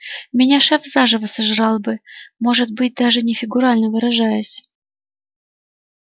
меня шеф заживо сожрал бы может быть даже не фигурально выражаясь